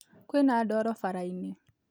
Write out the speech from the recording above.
Kwĩna ndoro barainĩ